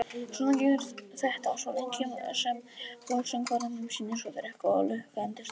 Svona gengur þetta svo lengi sem forsöngvaranum sýnist og þrek og lukka endast til.